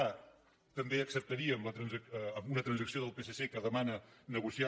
a també acceptaríem una transacció del psc que demana negociar